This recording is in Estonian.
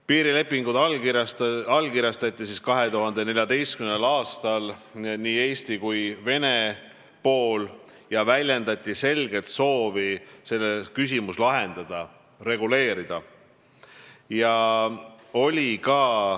Piirilepingud allkirjastasid 2014. aastal nii Eesti kui ka Vene pool ja väljendati selget soovi küsimus lahendada, see reguleerida.